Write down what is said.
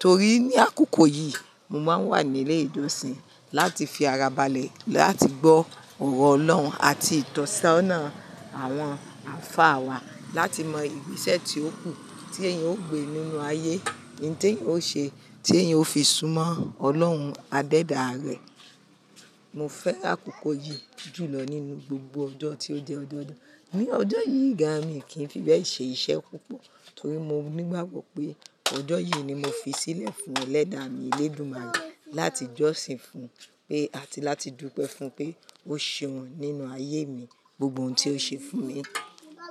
Torí ní àkókò yìí mo máa ń wà ní ilé ìjọsìn láti fi ara balẹ̀ láti gbọ́ ọ̀rọ̀ Ọlọ́run àti ìtọ́sọ́nà àwọn àfáà wa láti mọ ìgbésẹ̀ tí ó kù tí èèyàn ó gbé nínú ayé, ohun tí èèyàn ó ṣe, tí èèyàn ó fi súnmọ́ Ọlọ́run Adéda rẹ̀. Mo fẹ́ àkókò yìí jù lọ nínú gbogbo ọjọ́ tí ó jẹ́ ọjọ́ ọdọọdún. Ni ọjọ́ yìí gán mí kí n fi bẹ́ẹ̀ ṣe iṣẹ́ púpọ̀ torí mo nígbàgbọ̀ pé ọjọ́ yìí ni mo fi sílẹ̀ fún ẹlẹ́da mi Elédùmarè láti jọ́sìn fún un pé àti láti dúpẹ́ fún pé ó ṣeun nínú ayé mi, gbogbo ohun tí ó ṣe fún mi.